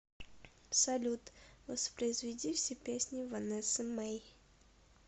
салют воспроизведи все песни ванессы мей